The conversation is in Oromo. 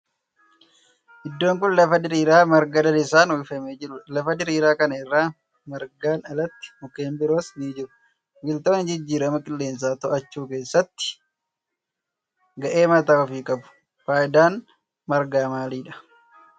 iddoon kun lafa diriiraa marga lalisaan uwwifamee jirudha. lafa diriiraa kana irra margaan alatti mukkeen biroos ni jiru. biqiltoonni jijjiirama qillensaa to'achuu keessatti gahee mataa ofii qabu. faayidaan margaa maalidha?